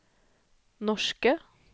norske